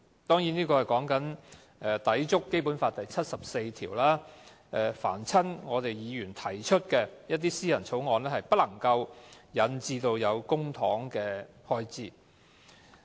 當然，這是有關抵觸《基本法》第七十四條，該條訂明議員提出的法律草案不能夠涉及公帑的開支。